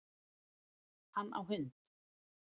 Hann á hund